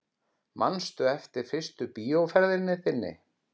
Manstu eftir fyrstu bíóferð þinni?